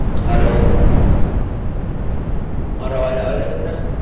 hello મારો અવાજ આવે છે તમને?